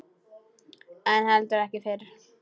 En heldur ekki fyrr.